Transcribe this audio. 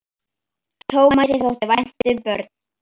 Tómasi þótti vænt um börn.